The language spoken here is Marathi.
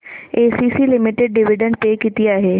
एसीसी लिमिटेड डिविडंड पे किती आहे